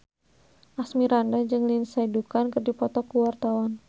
Asmirandah jeung Lindsay Ducan keur dipoto ku wartawan